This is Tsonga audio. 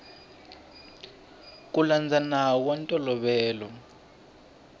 ku landza nawu wa ntolovelo